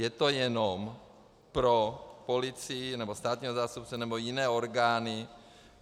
Je to jenom pro policii nebo státního zástupce nebo jiné orgány.